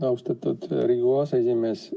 Austatud Riigikogu aseesimees!